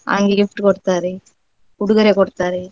ಅಂಗಿ gift ಕೊಡ್ತಾರೆ ಉಡುಗೊರೆ ಕೊಡ್ತಾರೆ.